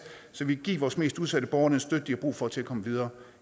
så vi kan give vores mest udsatte borgere den støtte de har brug for til at komme videre